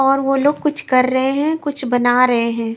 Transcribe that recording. और वो लोग कुछ कर रहे हैं कुछ बना रहे हैं।